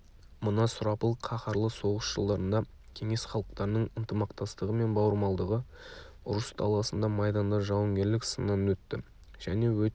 мына сұрапыл қаһарлы соғыс жылдарында кеңес халықтарының ынтымақтастығы мен бауырмалдығы ұрыс даласында майданда жауынгерлік сыннан өтті және өте